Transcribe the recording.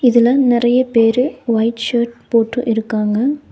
இதுல நெறைய பேரு ஒயிட் ஷர்ட் போட்டு இருக்காங்க.